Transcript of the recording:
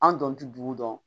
An don tɛ dugu dɔn